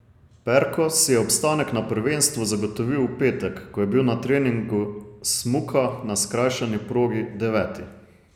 Perko si je obstanek na prvenstvu zagotovil v petek, ko je bil na treningu smuka na skrajšani progi deveti.